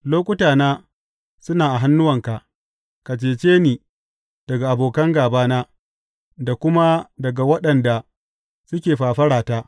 Lokutana suna a hannuwanka; ka cece ni daga abokan gābana da kuma daga waɗanda suke fafara ta.